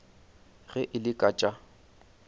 ge e le ka tša